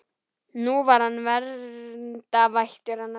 Nú var hann verndarvættur hennar.